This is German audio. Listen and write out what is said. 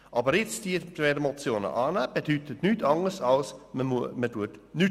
Diese beiden Motionen anzunehmen, bedeutet nichts anderes, als nichts zu tun.